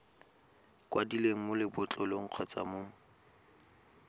kwadilweng mo lebotlolong kgotsa mo